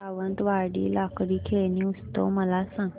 सावंतवाडी लाकडी खेळणी उत्सव मला सांग